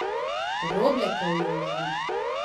Roblekov Joža.